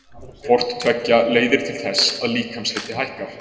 Hvort tveggja leiðir til þess að líkamshiti hækkar.